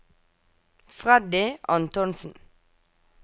Freddy Antonsen